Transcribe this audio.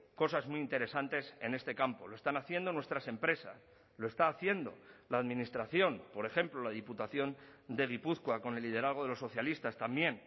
cosas muy interesantes en este campo lo están haciendo nuestras empresas lo está haciendo la administración por ejemplo la diputación de gipuzkoa con el liderazgo de los socialistas también